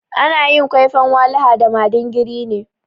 Ana yin kwaifan walaha da madingiri ne.